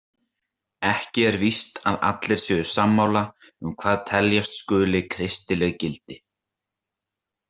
Ekki er víst að allir séu sammála um hvað teljast skuli kristileg gildi.